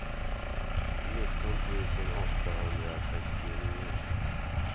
nitton tusen åttahundrasextionio